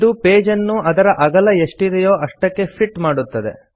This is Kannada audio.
ಇದು ಪೇಜ್ ಅನ್ನು ಅದರ ಅಗಲ ಎಷ್ಟಿದೆಯೋ ಅಷ್ಟಕ್ಕೆ ಫಿಟ್ ಮಾಡುತ್ತದೆ